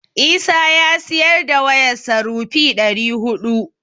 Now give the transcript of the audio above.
Isa ya siyar da wayarsa rupee ɗari huɗu.